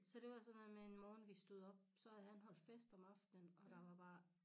Så det var sådan noget med en morgen vi stod op så havde han holdt fest om aftenen og der var bare